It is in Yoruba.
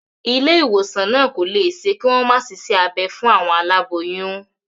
Ilé ìwòsàn náà kò lè ṣe kí wọ́n má ṣiṣẹ́ abẹ fún àwọn aláboyún.